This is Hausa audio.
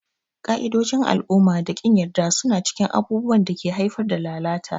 Ƙa'idojin al'umma da ƙin yarda suna cikin abubuwan da ke haifar da lalata.